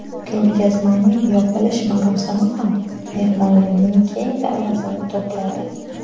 Ko‘rgazmaning yopilish marosimi ham mehmonlarning keng davrasini to‘pladi.